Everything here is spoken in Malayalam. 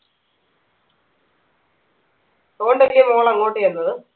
അതോണ്ടല്ലേ മോൾ അങ്ങോട്ട് ചെന്നത്